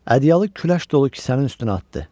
Ədyalı küləş dolu kisənin üstünə atdı.